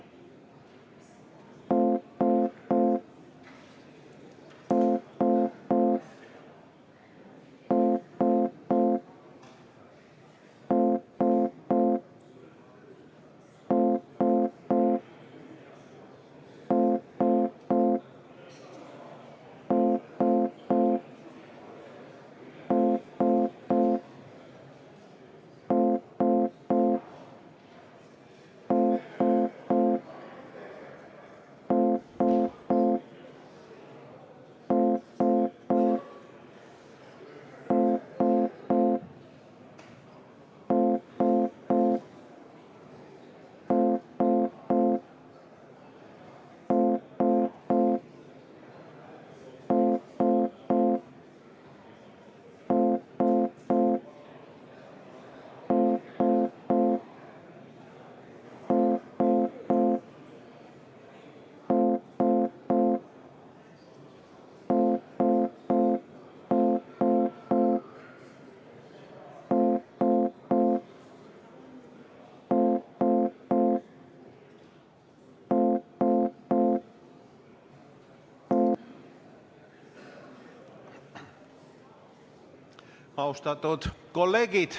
Austatud kolleegid!